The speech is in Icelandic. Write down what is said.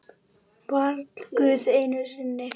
Varla Guð einu sinni!